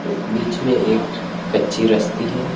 बीच में एक कच्चे रास्ते हैं।